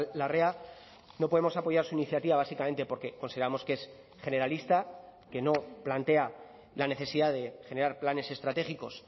larrea no podemos apoyar su iniciativa básicamente porque consideramos que es generalista que no plantea la necesidad de generar planes estratégicos